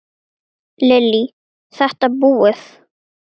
Lillý:. þetta búið?